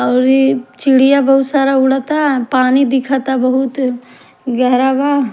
और ए चिड़िया बहुत सारा उड़ता पानी दिखता बहुत गहरा बा--